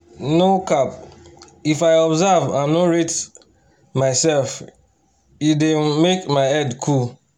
no um cap if i observe and nor rate myself e dey um make my head cool